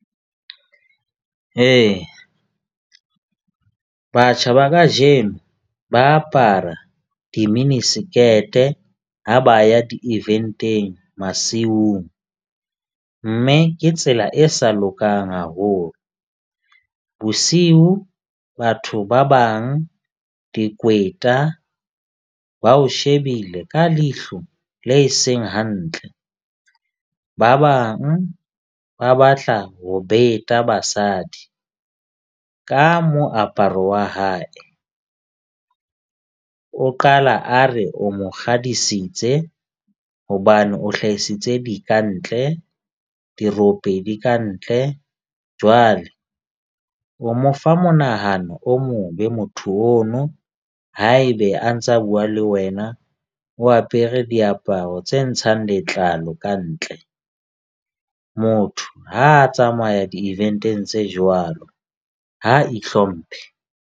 Ee, batjha ba kajeno ba apara di-mini skirt-e ha ba ya di-event-teng masiung, mme ke tsela e sa lokang haholo. Bosiu batho ba bang dikweta ba o shebile ka leihlo le e seng hantle. Ba bang ba batla ho beta basadi ka moaparo wa hae, o qala a re o mo kgadisitse hobane o hlahisitse di kantle. Dirope di kantle jwale o mo fa monahano o mobe motho ono. Haebe a ntsa bua le wena o apere diaparo tse ntshang letlalo kantle. Motho ha a tsamaya di-event-eng tse jwalo ha ihlomphe.